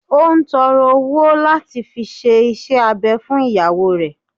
Ó n tọrọ owo lati fi se isẹ abẹ fun iyawo rẹ